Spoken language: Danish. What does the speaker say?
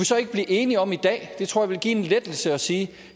så ikke blive enige om i dag det tror jeg ville give en lettelse at sige at